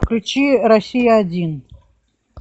включи россия один